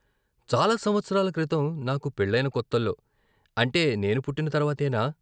"చాలా సంవత్సరాల క్రితం నాకు పెళ్ళయిన కొత్తల్లో "అంటే నేను పుట్టిన తర్వాతేనా?